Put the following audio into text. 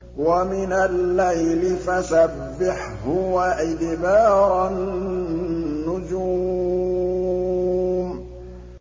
وَمِنَ اللَّيْلِ فَسَبِّحْهُ وَإِدْبَارَ النُّجُومِ